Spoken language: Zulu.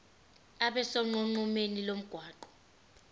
abe sonqenqemeni lomgwaqo